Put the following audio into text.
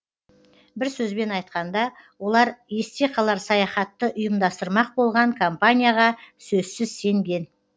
бір сөзбен айтқанда олар есте қалар саяхатты ұйымдастырмақ болған компанияға сөзсіз сенген